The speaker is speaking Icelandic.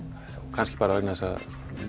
kannski bara vegna þess að